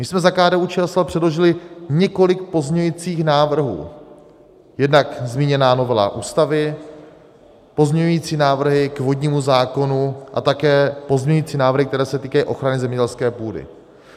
My jsme za KDU-ČSL předložili několik pozměňujících návrhů, jednak zmíněná novela Ústavy, pozměňující návrhy k vodnímu zákonu a také pozměňující návrhy, které se týkají ochrany zemědělské půdy.